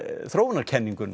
þróunarkenninguna